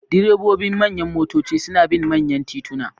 Direbobin manyan motoci suna bin manyan tituna.